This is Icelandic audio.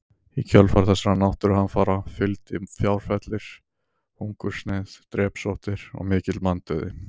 Í kjölfar þessara náttúruhamfara fylgdi fjárfellir, hungursneyð, drepsóttir og mikill manndauði.